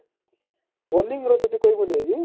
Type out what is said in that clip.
bowling ର ଯଦି କହିବୁ ନାହିଁ କି